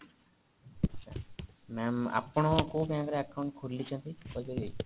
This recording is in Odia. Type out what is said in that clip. ma'am ଆପଣ କୋଉ bankରେ account ଖୋଲିଛନ୍ତି କହିପାରିବେ